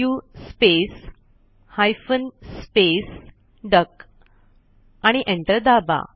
सु space hyphen space duck आणि enter दाबा